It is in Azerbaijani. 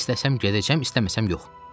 İstəsəm gedəcəm, istəməsəm yox.